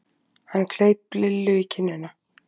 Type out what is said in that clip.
Hann kleip Lillu í kinnina.